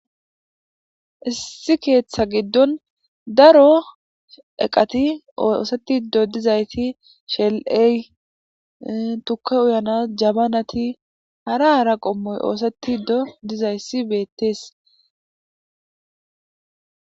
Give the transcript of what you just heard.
Issi keeththa giddon daro eqati ooosetti do dizayti shel7ey tukke uyanas jabanati hara hara qommoy ooseti do dizayssi beettees.